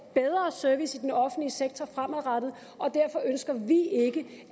bedre service i den offentlige sektor fremadrettet og derfor ønsker vi ikke